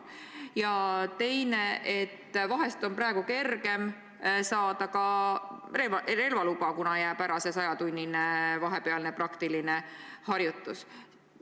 Ja teine mure: vahest on praegu kergem saada ka relvaluba, kuna 100-tunnine praktiline harjutus jääb ära.